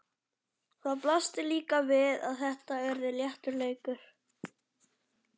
Það blasti líka við að þetta yrði léttur leikur.